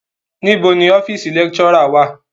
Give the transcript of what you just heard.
Níbo ni ọ́fíísì lecturer wá à?